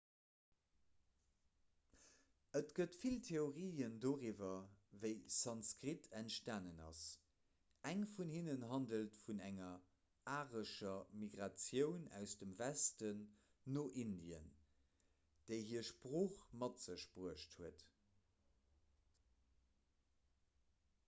et gëtt vill theorien doriwwer wéi sanskrit entstanen ass eng vun hinnen handelt vun enger arescher migratioun aus dem westen no indien déi hir sprooch mat sech bruecht huet